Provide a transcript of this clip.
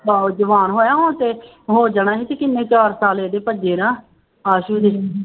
ਆਹੋ ਜਵਾਨ ਹੋਇਆ ਹੁਣ ਤੇ ਹੋ ਜਾਣਾ ਸੀ ਤੇ ਕਿੰਨੇ ਚਾਰ ਸਾਲ ਇਹਦੇ ਭੱਜੇ ਨਾ ਆਸੂ ਦੇ।